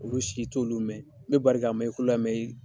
Olu si i t'olu mɛn i bɛ bari k'a mɛn i kulo la i